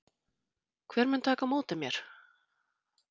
Hver mun taka á móti mér?